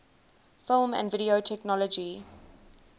film and video technology